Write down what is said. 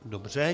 Dobře.